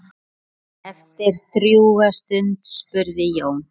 Eftir drjúga stund spurði Jón